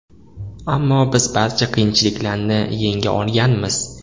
Ammo biz barcha qiyinchiliklarni yenga olganmiz.